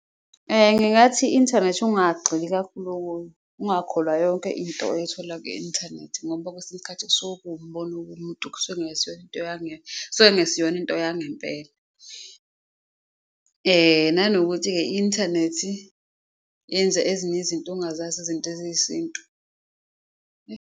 Ngingathi i-inthanethi ingagxili kakhulu ukuyo, ungakholwa yonke into oyithola kwi-inthanethi, ngoba kwesinye isikhathi kusuke kuwumbono womuntu kusuke kungesiyona into yangempela. Nanokuthi-ke i-inthanethi yenza ezinye izinto ongazazi, izinto eziyisintu.